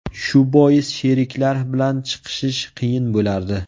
Shu bois sheriklar bilan chiqishish qiyin bo‘lardi.